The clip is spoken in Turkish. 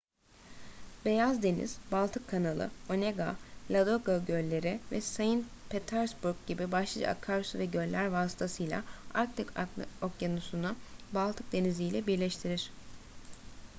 beyaz deniz baltık kanalı onega ladoga gölleri ve saint petersburg gibi başlıca akarsu ve göller vasıtasıyla arktik okyanusu'nu baltık denizi'yle birleştirir